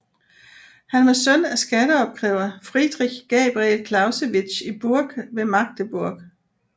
Han var søn af skatteopkræver Friedrich Gabriel Clausewitz i Burg ved Magdeburg